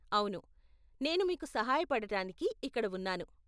అవును, నేను మీకు సహాయపడటానికి ఇక్కడ ఉన్నాను.